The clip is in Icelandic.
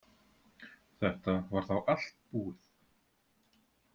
Þetta var þá allt búið.